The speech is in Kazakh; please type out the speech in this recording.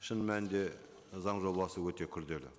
шын мәнінде заң жобасы өте күрделі